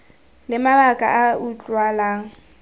le mabaka a a utlwalang